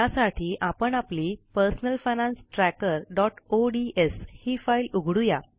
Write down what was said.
त्यासाठी आपण आपली पर्सनल फायनानेस trackerओडीएस ही फाईल उघडू या